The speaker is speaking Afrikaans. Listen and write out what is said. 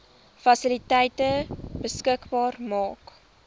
fasiliteite beskikbaar maak